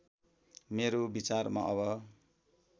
मेरो विचारमा अब